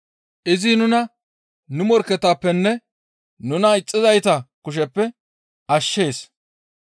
Izi nuna nu morkketappenne, nuna ixxizayta kusheppe ashshees.